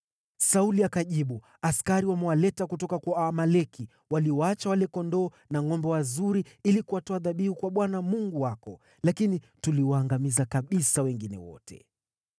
Sauli akajibu, “Askari wamewaleta kutoka kwa Waamaleki, waliwaacha wale kondoo na ngʼombe wazuri ili kuwatoa dhabihu kwa Bwana , Mungu wako, lakini tuliwaangamiza kabisa wengine wote.”